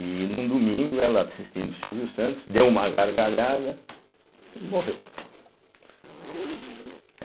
E num domingo, ela assistindo o Silvio Santos, deu uma gargalhada e morreu.